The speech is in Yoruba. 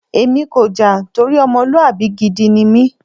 Èmi kò jà torí ọmọlúwàbí gidi ni mí.